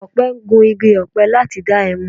Akọ̀pẹ ń gun igi ọ̀pẹ láti dá ẹmu